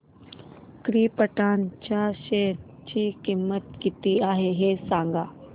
krypton च्या share ची किंमत किती आहे हे सांगा